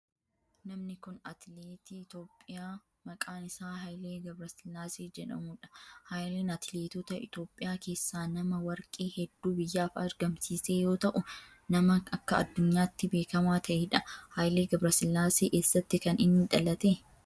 Namni kun atileetii Itiyoophiyaa maqaan isaa Hayilee Gabrasillaasee jedhamudha. Haayileen atileetota Itiyoophiyaa keessaa nama warqee heddu biyyaaf argamiise yoo ta'u nama akka addunyaatti beekamaa ta'edha. Haayilee Gabrasillaasee eessatti kan inni dhalate?